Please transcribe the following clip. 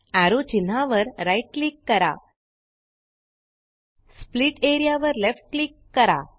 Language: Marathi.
एरो चिन्हावर राइट क्लिक करा स्प्लिट एआरईए वर लेफ्ट क्लिक करा